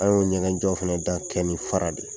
An y'o ɲɛgɛn jɔ fana da kɛ ni faraw de ye